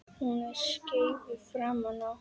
Hún er skeifu framan á.